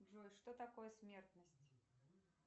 джой что такое смертность